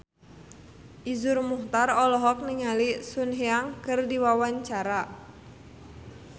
Iszur Muchtar olohok ningali Sun Yang keur diwawancara